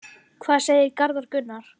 Hvað segir Garðar Gunnar?